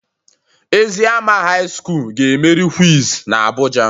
Eziama high school ga emeri quiz na abuja.